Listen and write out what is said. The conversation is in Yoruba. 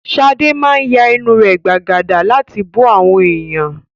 Shade máa ya ẹnu rẹ̀ gbàgàdà láti bú àwọn èèyàn